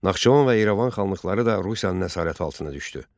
Naxçıvan və İrəvan xanlıqları da Rusiyanın əsarəti altına düşdü.